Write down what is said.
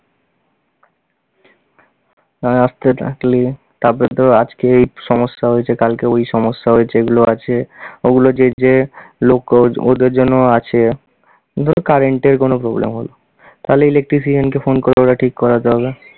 তারপরে তোর আজকে এই সমস্যা হয়েছে কালকে ওই সমস্যা হয়েছে এগুলো আছে, ওগুলো যে যে লোক ওদের জন্য আছে, ধর current এর কোনো problem হলো তাহলে electrician কে phone কোরে ওটা ঠিক করাতে হবে।